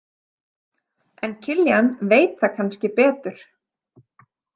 En Kiljan veit það kannski betur.